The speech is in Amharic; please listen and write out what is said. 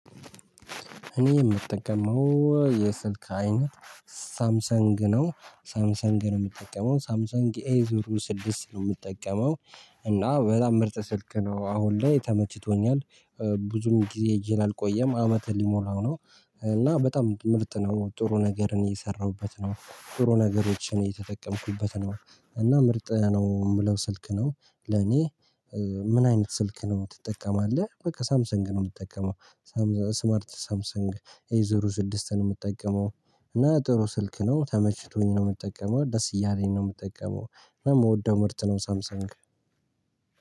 እኔ የምጠቀመው የስልክ አይነት ሳምሰንግ ነው ሳምሰንግ ነው የምጠቀመው ሳምሳንግ ኤ ዙሩ ስድስት ነው የምጠቀመው። እና በጣም ምርጥ ስልክ ነው አሁን ላይ ተመችቶኛል። ብዙም ጊዜ እጄ ላይ አልቆየም አመት ሊሞላው ነው። እና በጣም ምርጥ ነው ጥሩ ነገርን እየሰራሁበት ነው ጥሩ ነገሮችን የተጠቀምኩበት ነው። እና ምርጥ ነው የምለው ስልክ ነው። ለኔ ምን አይነት ስልክ ነው ትጠቀማለህ? በቃ ሳምሰንግ ነው የምትጠቀመው። ስማርት ሳምሰንግ ኤ ዙሩ ስድስት ነው የምጠቀመው። እና ጥሩ ስልክ ነው ተመችቶኝ ነው የምጠቀመው ደስ እያለኝ ነው የምጠቀመው። የምወደው ምርት ነው ሳምሳንግ